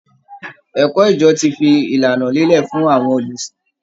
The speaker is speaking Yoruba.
Ẹ̀kọ́ ìjọ ti fi ìlànà lélẹ̀ fún àwọn olùsìn